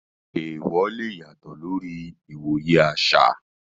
Taboos lè yàtọ̀ lórí ìwòye àṣà.